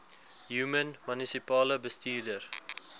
human munisipale bestuurder